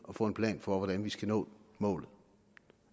at få en plan for hvordan vi skal nå målet